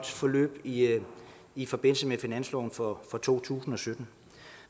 forløb i i forbindelse med finansloven for to tusind og sytten